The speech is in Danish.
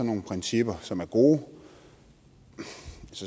nogle principper som er gode